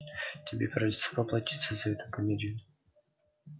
тебе придётся поплатиться за эту комедию